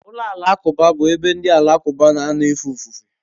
Ụlọ alakụba bụ ebe ndị Alakụba na-anọ efe ofufe.